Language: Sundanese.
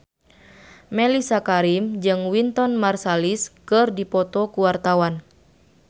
Mellisa Karim jeung Wynton Marsalis keur dipoto ku wartawan